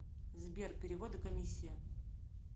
сбер переводы комиссия